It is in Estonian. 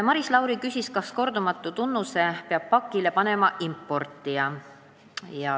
Maris Lauri küsis, kas kordumatu tunnuse peab pakile panema importija.